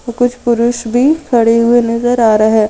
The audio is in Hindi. कुछ पुरुष भी खड़े हुए नजर आ रहे--